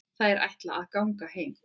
Þær ætla að ganga heim.